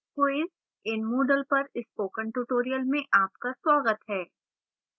quiz in moodle पर spoken tutorial में आपका स्वागत है